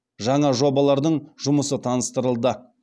жаңа жобалардың жұмысы таныстырылды